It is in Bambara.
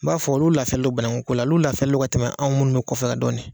N b'a fɔ olu lafiyalen don banankun foro la ka tɛmɛ anw minnu bɛ kɔfɛ dɔɔnin.